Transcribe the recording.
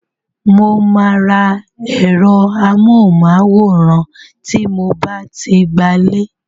Mo máa ra ẹ̀rọ amóhùnmáwòrán tí mo bá ti gbalé.